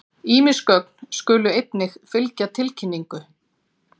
Ýmis gögn skulu einnig fylgja tilkynningu.